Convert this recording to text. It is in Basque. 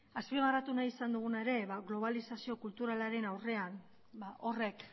azpimarratu nahi izan duguna ere globalizazio kulturalaren aurrean horrek